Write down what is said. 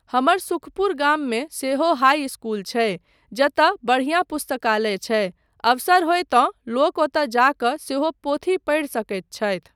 हमर सुखपुर गाममे सेहो हाइ इस्कूल छै जतय बढिआँ पुस्तकालय छै, अवसर होय तँ लोक ओतय जा कऽ सेहो पोथी पढ़ि सकैत छथि।